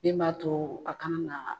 Den b'a to a kana na.